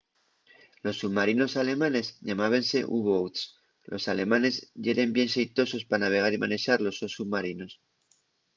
los submarinos alemanes llamábense u-boats los alemanes yeren bien xeitosos pa navegar y manexar los sos submarinos